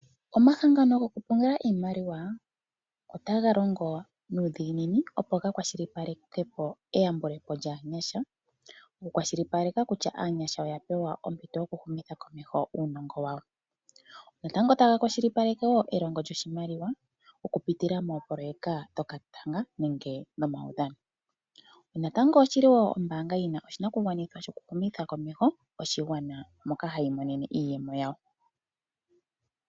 Omahangano goku pungula iimaliwa otaga longo nuudhiginini opo ga kwashilipalekepo eyambulepo lyaanyasha. Oku kwashilipaleka kutya aanyasha oya pewa ompito yokwiihumitha komeho uunongo wawo, natango taga kwashilipaleke wo elongitho lyuoshimaliwa ,oku pitila moopoloyeka dhokatanga nenge nomaudhano, natango oshili wo ombanga yina oshinakugwanithwa shoku humitha komeho oshigwana, moka hayi iimonene iiyemo yawo.